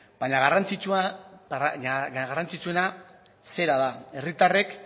baina garrantzitsuena zera da herritarrek